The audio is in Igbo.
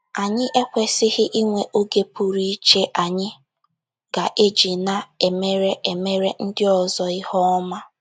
Anyị ekwesịghị inwe oge pụrụ iche anyị ga - eji na - emere emere ndị ọzọ ihe ọma.